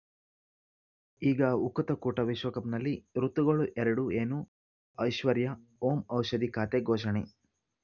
ಈಗ ಉಕುತ ಕೂಟ ವಿಶ್ವಕಪ್‌ನಲ್ಲಿ ಋತುಗಳು ಎರಡು ಏನು ಐಶ್ವರ್ಯಾ ಓಂ ಔಷಧಿ ಖಾತೆ ಘೋಷಣೆ